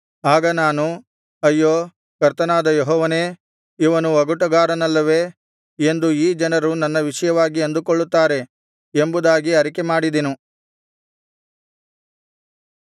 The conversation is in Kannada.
ಆಗ ನಾನು ಅಯ್ಯೋ ಕರ್ತನಾದ ಯೆಹೋವನೇ ಇವನು ಒಗಟುಗಾರನಲ್ಲವೇ ಎಂದು ಈ ಜನರು ನನ್ನ ವಿಷಯವಾಗಿ ಅಂದುಕೊಳ್ಳುತ್ತಾರೆ ಎಂಬುದಾಗಿ ಅರಿಕೆಮಾಡಿದೆನು